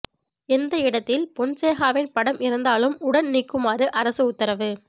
எந்த இடத்தில் பொன்சேகாவின் படம் இருந்தாலும் உடன் நீக்குமாறு அரசு உத்தரவு